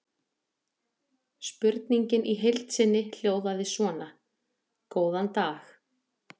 Spurningin í heild sinni hljóðaði svona: Góðan dag.